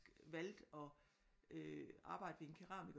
Valgte at øh arbejde ved en keramiker